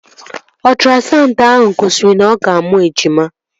Ọtrasaụndụ ahụ gosiri na-ọga amụ ejima